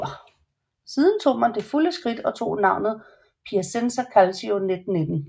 Siden tog man det fulde skridt og tog navnet Piacenza Calcio 1919